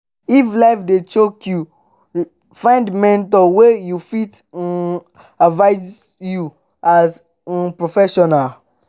if life dey choke yu find mentor wey go fit um advice yu as um professional